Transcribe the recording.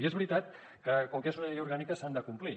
i és veritat que com que és una llei orgànica s’han de complir